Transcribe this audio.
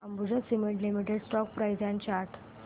Ambuja cement limited stock price and chart